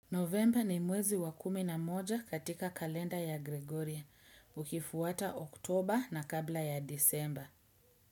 Novemba ni mwezi wa kumi na moja katika kalenda ya Gregoria, ukifuata oktoba na kabla ya disemba.